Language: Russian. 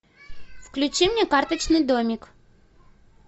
включи мне карточный домик